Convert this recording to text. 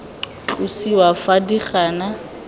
tlosiwa fa di le gona